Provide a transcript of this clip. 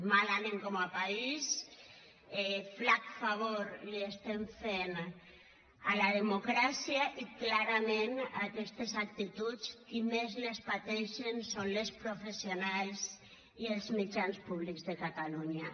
mal anem com a país flac favor fem a la democràcia i clarament aquestes actituds qui més les pateixen són les professionals i els mitjans públics de catalunya